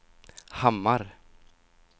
Hammar